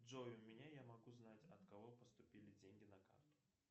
джой у меня я могу знать от кого поступили деньги на карту